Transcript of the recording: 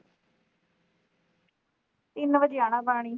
ਤਿੰਨ ਵਜੇ ਆਣਾ ਪਾਣੀ